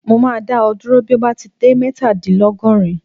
Mo máa dá ọ dúró bí o bá ti dé mẹ́tadìnlọ́gọ́rin.